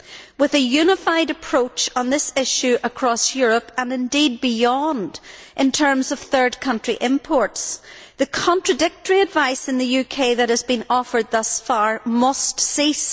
With a unified approach on this issue across Europe and indeed beyond in terms of third country imports the contradictory advice in the UK which has been offered thus far must cease.